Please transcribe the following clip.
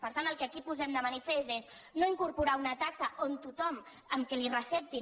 per tant el que aquí posem de manifest és no incorpo·rar una taxa on tothom amb que li ho receptin